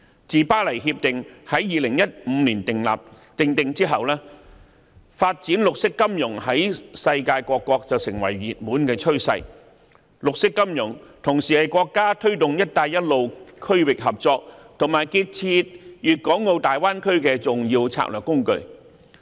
自《巴黎協定》在2015年訂定後，發展綠色金融在世界各國成為熱門趨勢，而綠色金融同時是國家推動"一帶一路"區域合作及建設粵港澳大灣區的重要策略工具。